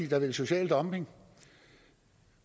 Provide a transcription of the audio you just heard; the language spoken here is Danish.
have social dumping